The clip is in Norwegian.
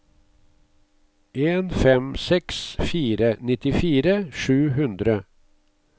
en fem seks fire nittifire sju hundre